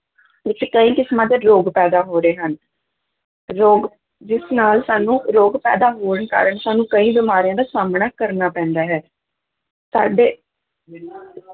ਵਿੱਚ ਕਈ ਕਿਸਮਾਂ ਦੇ ਰੋਗ ਪੈਦਾ ਹੋ ਰਹੇ ਹਨ, ਰੋਗ ਜਿਸ ਨਾਲ ਸਾਨੂੰ ਰੋਗ ਪੈਦਾ ਹੋਣ ਕਾਰਨ ਸਾਨੂੰ ਕਈ ਬਿਮਾਰੀਆਂ ਦਾ ਸਾਹਮਣਾ ਕਰਨਾ ਪੈਂਦਾ ਹੈ, ਸਾਡੇ